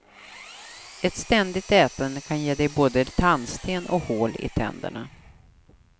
Ett ständigt ätande kan ge dig både tandsten och hål i tänderna.